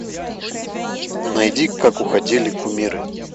найди как уходили кумиры